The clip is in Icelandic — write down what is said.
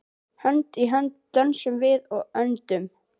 Hönd í hönd dönsum við og öndum.